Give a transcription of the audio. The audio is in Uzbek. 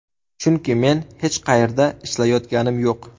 Chunki men hech qayerda ishlayotganim yo‘q.